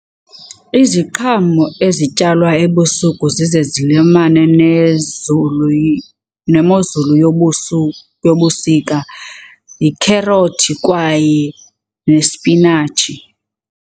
Iziqhamo ezityalwa ebusuku zize zilimane nezulu nemozulu yobusika yikherothi kwaye nesipinatshi.